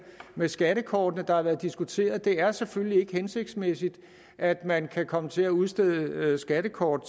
med skattekortene der har været diskuteret det er selvfølgelig ikke hensigtsmæssigt at man kan komme til at udstede skattekort